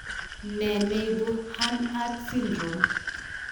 Ne ne ibu Hanhart syndrome?